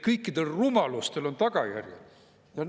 Kõikidel rumalustel on tagajärjel!